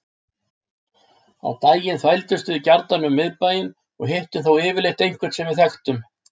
Á daginn þvældumst við gjarnan um miðbæinn og hittum þá yfirleitt einhvern sem við þekktum.